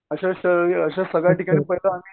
अशा अशा सगळ्या ठिकाणी आम्ही